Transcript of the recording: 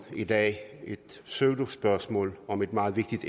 i dag et pseudospørgsmål om et meget vigtigt